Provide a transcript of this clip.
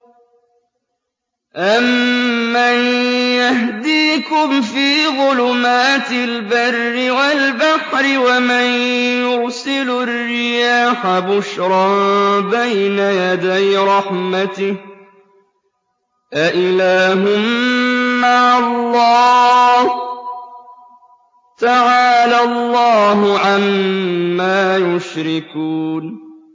أَمَّن يَهْدِيكُمْ فِي ظُلُمَاتِ الْبَرِّ وَالْبَحْرِ وَمَن يُرْسِلُ الرِّيَاحَ بُشْرًا بَيْنَ يَدَيْ رَحْمَتِهِ ۗ أَإِلَٰهٌ مَّعَ اللَّهِ ۚ تَعَالَى اللَّهُ عَمَّا يُشْرِكُونَ